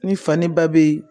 Ni fani ba be ye